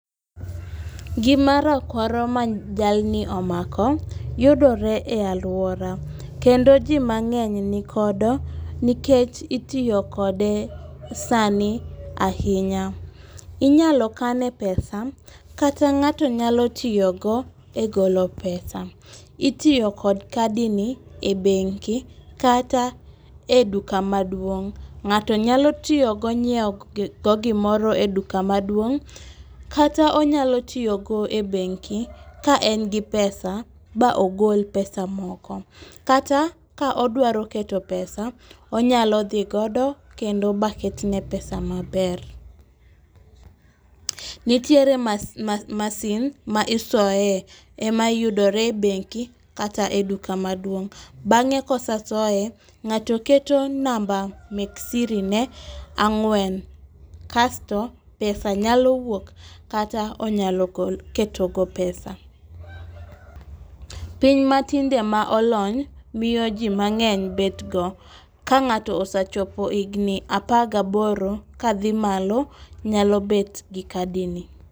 Gima rakwaro ma jalni omako yudore e aluora , kendo jimang'eny nikodo nikech itiyo kode sani ahinya, inyalo kane pesa kata ng'ato nyalo tiyogo e golo pesa, itiyo kod kadini e bengi kata e duka maduong', ng'ato nyalo tiyogo e nyiewo go gimoro e duka maduong' kata onyalo tiyogo e bengi' ka en gi pesa ma ogol pesa moko, kata ka odwaro keto pesa onyalo thigodo kendo baketne pesa maber. Nitiere masin ma isoye ma yudore e beng'i kata e duka maduong', bang'e ka osesoye ng'ato keto number sirine ang'wen kasto pesa nyalo wuok kata onyalo ketogo pesa. Piny ma tinde ma olony miyo ji mang'eny betgo, ka ng'ato osechopo higni apar gaboro kathi malo nyalo bet gi kadini.